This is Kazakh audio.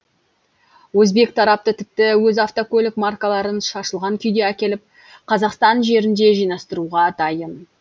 өзбек тарапы тіпті өз автокөлік маркаларын шашылған күйде әкеліп қазақстан жерінде жинастыруға дайын